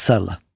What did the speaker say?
İxtisarla.